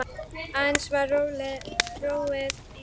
Aðeins var róið á sumrin.